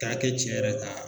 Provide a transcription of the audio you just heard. K'a kɛ tiɲɛ yɛrɛ ka